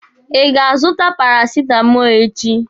Ị ga-azụta parasitamọlụ echi.